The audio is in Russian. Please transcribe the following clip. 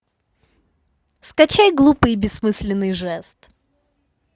скачай глупый и бессмысленный жест